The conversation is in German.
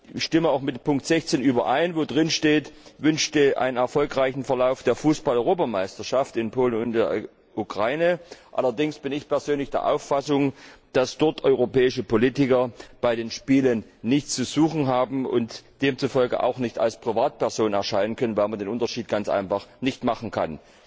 Ich stimme auch mit Punkt 16 überein, worin steht wünscht einen erfolgreichen Verlauf der Fußball Europameisterschaft 2012 in Polen und in der Ukraine. Allerdings bin ich persönlich der Auffassung, dass europäische Politiker dort bei den Spielen nichts zu suchen haben und demzufolge auch nicht als Privatperson erscheinen können, weil man den Unterschied ganz einfach nicht machen kann.